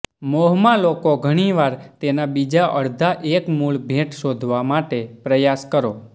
મોહમાં લોકો ઘણી વાર તેના બીજા અડધા એક મૂળ ભેટ શોધવા માટે પ્રયાસ કરો